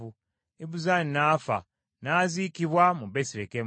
Ibuzaani n’afa, n’aziikibwa mu Besirekemu.